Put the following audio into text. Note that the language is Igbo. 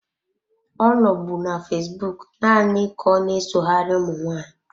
Ọ nọbụ na fesbụụk naanị ka ọna-esoghari ụmụ nwaanyị.